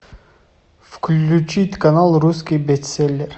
включить канал русский бестселлер